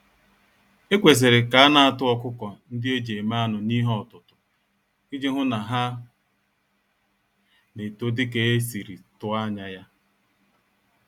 Ekwesịrị ka anatụ ọkụkọ-ndị-eji-eme-anụ n'ihe-ọtụtụ, iji hụ na ha N'eto dika esiri tụọ ányá ya.